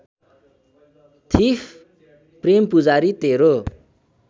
thief Prempujari Tere